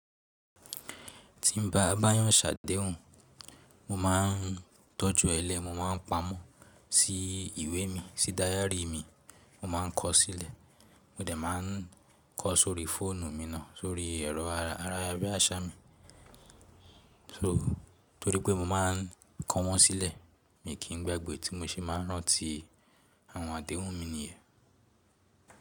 Ti n ba báyàn ṣàdéhùn, mo máa n tójú ẹ lẹ́, mo máa n paamọ̀ sí ìwé mi, sí dairy mi, mo máa n kọ sílẹ̀, mo dẹ̀ máa n kọ sóri fóònù mi náà, sóri ẹ̀rọ ayarábiàṣà mi. So, torí pé mo máa n kọ wọ́n sílẹ̀, mi kì í gbágbẹ ti mo ṣe máa n rán ti àwọn àdéhùn mi nìyẹn.